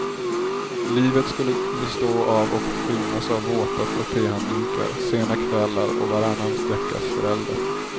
Livet skulle bestå av och skymmas av våta frottéhanddukar, sena kvällar och varannan veckas förälder.